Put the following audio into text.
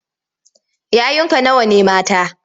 Yayunka nawa ne mata?